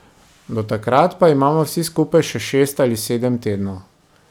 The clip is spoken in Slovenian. Do takrat pa imamo vsi skupaj še šest ali sedem tednov.